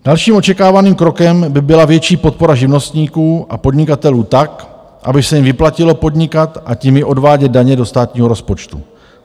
Dalším očekávaným krokem by byla větší podpora živnostníků a podnikatelů tak, aby se jim vyplatilo podnikat a tím i odvádět daně do státního rozpočtu.